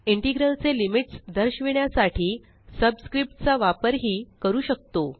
integral चे limits दर्शविण्यासाठी subscriptचा वापर ही करू शकतो